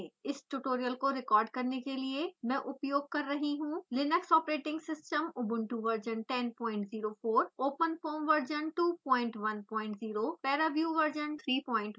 इस tutorial को record करने के लिए मैं उपयोग कर रही हूँ linux operating system ubuntu version 1004 openfoam version 210 paraview version 3120